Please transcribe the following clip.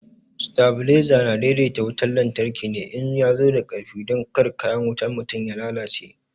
Stabalaiza na daidaita wutan lantarki ne in ya zo da ƙarfi don kar kayan wutan mutane ya lalace.